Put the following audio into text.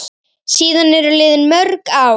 Síðan eru liðin mörg ár.